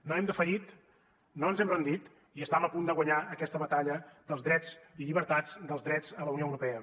no hem defallit no ens hem rendit i estam a punt de guanyar aquesta batalla dels drets i llibertats dels drets a la unió europea